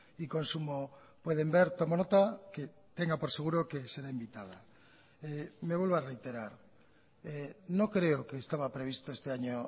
y consumo pueden ver tomo nota que tenga por seguro que será invitada me vuelvo a reiterar no creo que estaba previsto este año